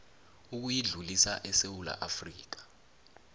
ukuyidlulisa esewula afrika